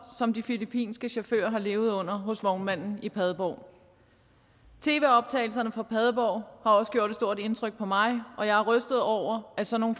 som de filippinske chauffører har levet under hos vognmanden i padborg tv optagelserne fra padborg har også gjort et stort indtryk på mig og jeg er rystet over at sådan